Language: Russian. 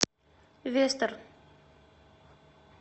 вестер